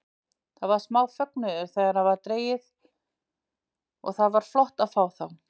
Það var smá fögnuður þegar það var dregið og það var flott að fá þá.